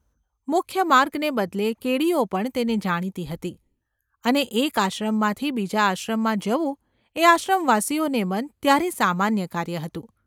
મુખ્ય માર્ગને બદલે કેડીઓ પણ તેની જાણીતી હતી, અને એક આશ્રમમાંથી બીજા આશ્રમમાં જવું એ આશ્રમવાસીઓને મન ત્યારે સામાન્ય કાર્ય હતું.